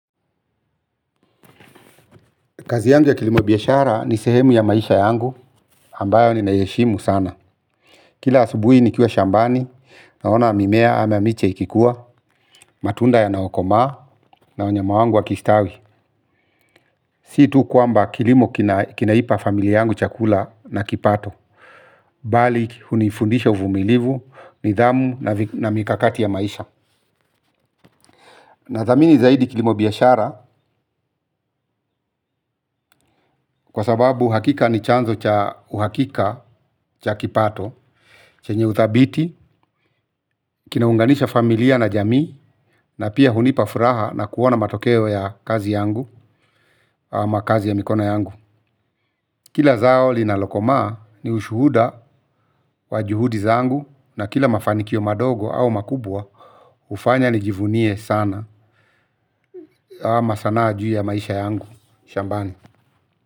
Kazi yangu ya kilimo biashara ni sehemu ya maisha yangu ambayo ninaheshimu sana. Kila asubuhi ni kiwa shambani naona mimea ama miche ikikuwa matunda yanayokoma na wanyama wangu wakistawi. Si tu kwamba kilimo kinaipa familia yangu chakula na kipato. Bali hunifundisha uvumilivu, nidhamu na mikakati ya maisha. Na thamini zaidi kilimo biashara kwa sababu hakika ni chanzo cha uhakika cha kipato chenye uthabiti, kinaunganisha familia na jamii, na pia hunipa furaha na kuona matokeo ya kazi yangu, ama kazi ya mikono yangu. Kila zao linalokomaa ni ushuhuda wa juhudi zangu, na kila mafanikio madogo au makubwa, hufanya nijivunie sana, ama sanaa juu ya maisha yangu, shambani.